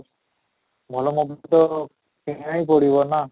ଭଲ mobile ତ କିଣିବାକୁ ହିଁ ପଡିବ ନା